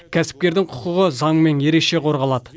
кәсіпкердің құқығы заңмен ерекше қорғалады